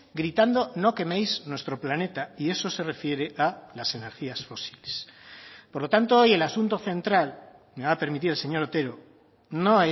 gritando no queméis nuestro planeta y eso se refiere a las energías fósiles por lo tanto hoy el asunto central me va a permitir el señor otero no